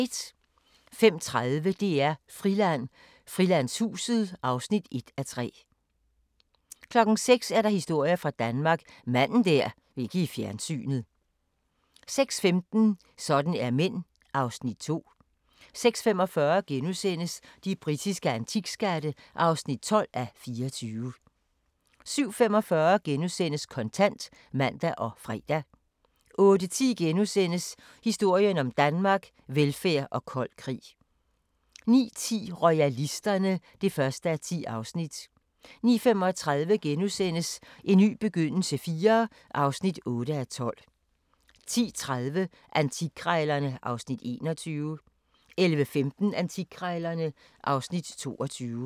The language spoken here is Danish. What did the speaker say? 05:30: DR-Friland: Frilandshuset (1:3) 06:00: Historier fra Danmark – Manden der ikke ville i fjernsynet 06:15: Sådan er mænd (Afs. 2) 06:45: De britiske antikskatte (12:24)* 07:45: Kontant *(man og fre) 08:10: Historien om Danmark: Velfærd og kold krig * 09:10: Royalisterne (1:10) 09:35: En ny begyndelse IV (8:12)* 10:30: Antikkrejlerne (Afs. 21) 11:15: Antikkrejlerne (Afs. 22)